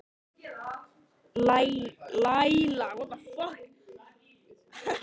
Laíla, hvað er á dagatalinu mínu í dag?